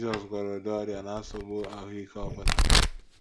Jizọs gwọrọ ụdị ọrịa na nsogbu ahụ́ ike ọ bụla